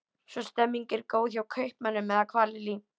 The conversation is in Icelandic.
Svo stemningin er góð hjá kaupmönnum eða hvað Lillý?